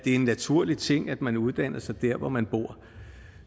en naturlig ting at man uddanner sig der hvor man bor